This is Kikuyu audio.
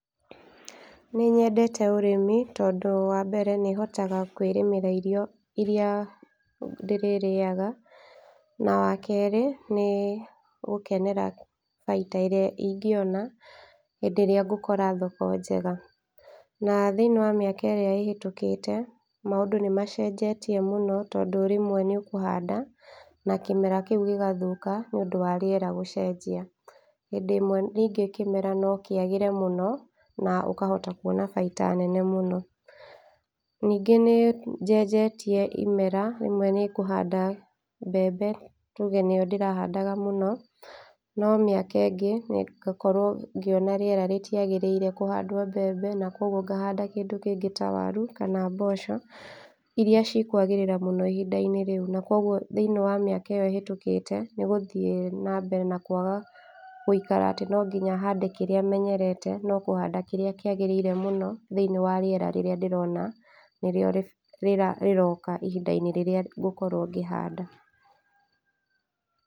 Nĩ nyendete ũrĩmi tondũ wa mbere, nĩhotaga kwĩrĩmĩra irio iria ndĩrĩrĩaga, na wa kerĩ nĩgũkenera baita ĩrĩa ingĩona hĩndĩ ĩrĩa ngũkora thoko njega , na thĩiniĩ wa mĩaka ĩrĩa ĩhĩtũkĩte, maũndũ nĩ macenjetie mũno, tondũ rĩmwe nĩ ũkũhanda na kĩmera kĩu gĩgathũka, nĩ ũndũ wa rĩera gũcenjia, hĩndĩ ĩmwe rĩngĩ kĩmera no kĩagĩre mũno na ũkahota kuona baita nene mũno, ningĩ nĩ njenjetie imera rĩmwe nĩngũhanda mbembe tuge nĩyo ndĩrahandaga mũno, no mĩaka ĩngĩ ngakorwo ngĩona rĩera rĩtiagĩrĩire kũhandwo mbembe, na kuoguo ngahanda kĩndũ kĩngĩ ta waru, kana mboco iria cikũagĩrĩra mũno ihinda-inĩ rĩu, na kuoguo thĩiniĩ wa mĩaka ĩyo ĩhĩtũkĩte, nĩgũthiĩ na mbere na kwaga gũikara atĩ no nginya hande kĩrĩa menyerete , no kũhanda kĩrĩa kĩagĩrĩire mũno thĩiniĩ wa rĩera rĩrĩa ndĩrona nĩrĩo rĩroka ihinda-inĩ rĩrĩa ngũkorwo ngĩhanda.